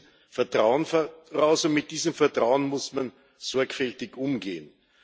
Sie setzen Vertrauen voraus, und mit diesem Vertrauen muss man sorgfältig umgehen.